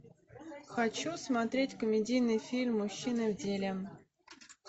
хочу смотреть комедийный фильм мужчины в деле